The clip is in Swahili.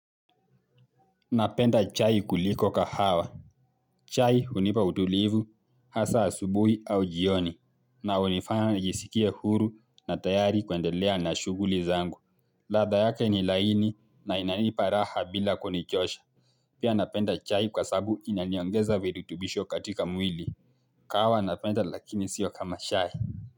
Napenda chai kuliko kahawa. Chai hunipa utulivu, hasa asubuhi au jioni. Na hunifanya nijisikie huru na tayari kuendelea na shuguli zangu. Ladha yake ni laini na inanipa raha bila kunichosha. Pia napenda chai kwa sababu inaniongeza virutubisho katika mwili. Kahawa napenda lakini sio kama chai.